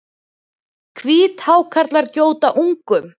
Hvíthákarlar gjóta ungum.